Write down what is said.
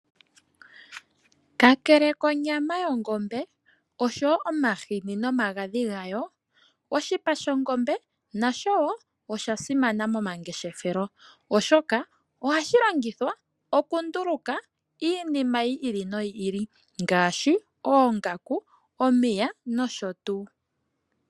Kakele konyama yongombe oshowo omahini nomagadhi gayo oshipa shongombe nasho wo osha simana momangeshefelo oshoka ohashi longithwa oku nduluka iinima yi ili noyi ili ngaashi oongaku, omiya nosho tuu.